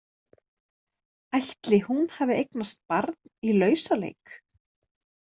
Ætli hún hafi eignast barn í lausaleik?